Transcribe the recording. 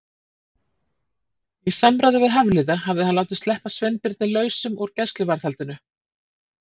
Í samráði við Hafliða hafði hann látið sleppa Sveinbirni lausum úr gæsluvarðhaldinu.